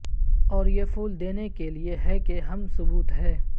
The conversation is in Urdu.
اور یہ پھول دینے کے لئے ہے کہ اہم ثبوت ہے